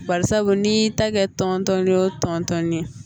Bari sabu n'i y'i tɛgɛ tɔn tɔn o tɔn tɔn ɲɛ